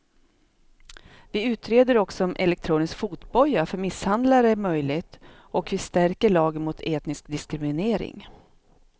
Vi utreder också om elektronisk fotboja för misshandlare är möjligt och vi stärker lagen mot etnisk diskriminering.